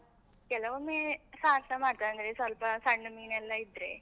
ಕೆಲವೊಮ್ಮೆ ಸಾರ್ಸ ಮಾಡ್ತೇವೆ, ಅಂದ್ರೆ ಸ್ವಲ್ಪ ಸಣ್ಣ ಮೀನೆಲ್ಲ ಇದ್ರೆ.